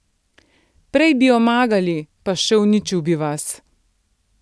Prej bi omagali, pa še uničil bi vas.